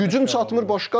Gücün çatmır başqadır.